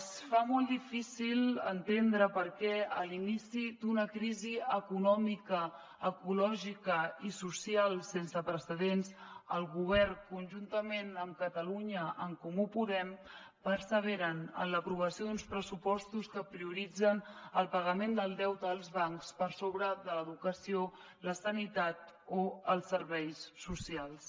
es fa molt difícil entendre per què a l’inici d’una crisi econòmica ecològica i social sense precedents el govern conjuntament amb catalunya en comú podem persevera en l’aprovació d’uns pressupostos que prioritzen el pagament del deute als bancs per sobre de l’educació la sanitat o els serveis socials